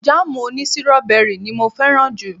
Jáàmù òní sírọ́bẹrì ni mo fẹ́ràn jù